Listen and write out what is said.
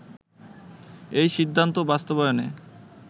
এই সিদ্ধান্ত বাস্তবায়নে